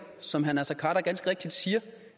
som herre naser khader ganske rigtigt siger